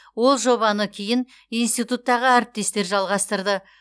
ол жобаны кейін институттағы әріптестер жалғастырды